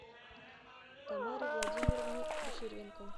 тамаре владимировне кучеренко